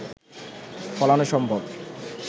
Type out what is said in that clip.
ফলানো সম্ভব